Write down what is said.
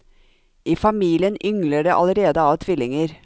I familien yngler det allerede av tvillinger.